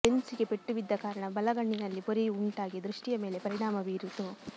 lens ಗೆ ಪೆಟ್ಟುಬಿದ್ದ ಕಾರಣ ಬಲಗಣ್ಣಿನಲ್ಲಿ ಪೊರೆಯು ಉಂಟಾಗಿ ದೃಷ್ಟಿಯ ಮೇಲೆ ಪರಿಣಾಮ ಬೀರಿತು